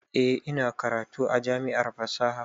Eh, ina karatu a jami'ar fasaha